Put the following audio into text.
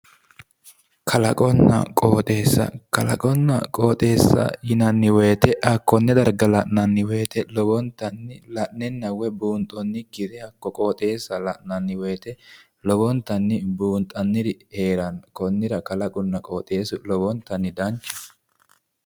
Kalaqonna qooxeessa. Kalaqonna qooxeessa yinanni woyite hakkonne darga la'nanni woyite lowontanni la'nenna buunxanniri heeranno konnira kalaqonna qooxeessu danchaho